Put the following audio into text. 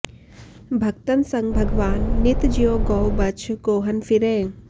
भक्तन सँग भगवान नित ज्यों गौ बछ गोहन फिरैं